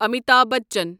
Amitabh Bachchan